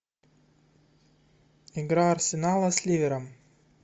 игра арсенала с ливером